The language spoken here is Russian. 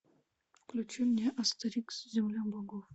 включи мне астерикс земля богов